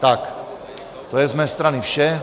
Tak, to je z mé strany vše.